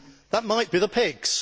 That might be the PIGS.